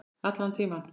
Allan tímann.